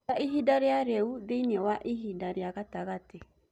njĩĩraĩhĩnda rĩa riu thĩĩ ini waĩhĩnda rĩa gatagati